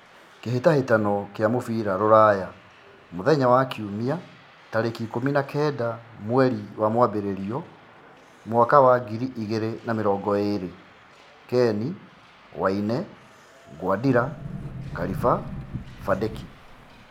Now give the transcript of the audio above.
Ngucanio cia mũbira Ruraya Jumabiri mweri ikũmi na kenda wambere mwaka wa ngiri igĩrĩ na namĩrongoĩrĩ: Keni, Waine, Nguadira, Kariba, Vandeki